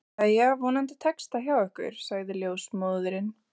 Jæja, vonandi tekst það hjá ykkur sagði ljósmóðirin.